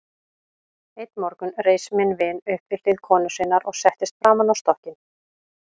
Einn morgun reis minn vin upp við hlið konu sinnar og settist framan á stokkinn.